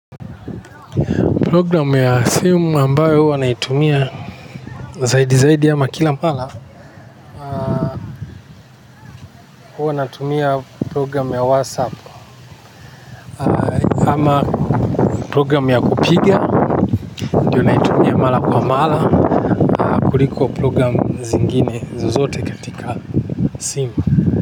Programu ya simu ambayo huwa naitumia zaidi zaidi ama kila mara huwa natumia programu ya WhatsApp ama programu ya kupiga ndio naitumia mara kwa mara kuliko programu zingine zozote katika simu.